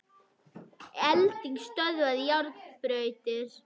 Elding stöðvaði járnbrautir